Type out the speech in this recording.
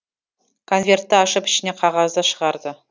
конвертті ашып ішінен қағазды шығарды